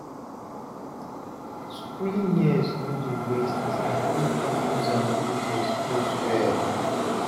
Schooling years no dey wasted if you use am build your skills well.